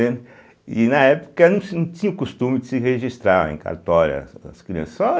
E, na época, não se não tinha o costume de se registrar em cartório as crianças, só